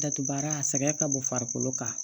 Datugu baara a sɛgɛn ka bon farikolo kan